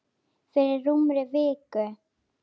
Fyrir rúmri viku.